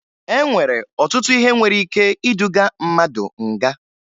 E nwere ọtụtụ ihe nwere ike iduga mmadụ nga